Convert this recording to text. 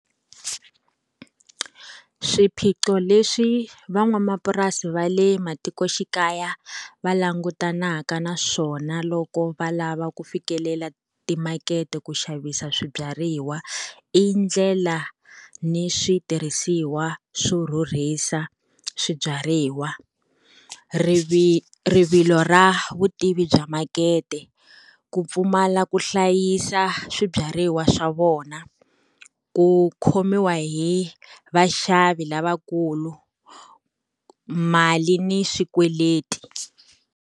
Swiphiqo leswi van'wamapurasi va le matikoxikaya va langutanaka na swona loko va lava ku fikelela timakete ku xavisa swibyariwa, i ndlela ni switirhisiwa swo rhurhisa swibyariwa, rivilo ra vutivi bya makete, ku pfumala ku hlayisa swibyariwa swa vona, ku khomiwa hi vaxavi lavakulu, mali ni swikweleti.